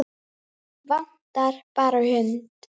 Vantar bara hund.